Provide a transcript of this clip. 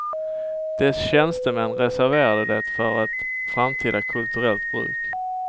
Dess tjänstemän reserverade det för ett framtida kulturellt bruk.